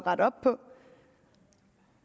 rette op på